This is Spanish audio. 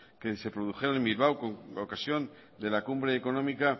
que se produjeron en bilbao con ocasión de la cumbre económica